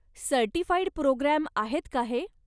Certified programme आहेत का हे?